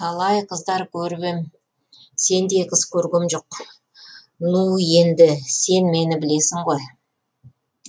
талай қыздар көріп ем сендей қыз көргем жоқ ну енді сен мені білесің ғой